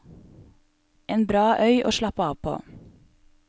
En bra øy å slappe av på.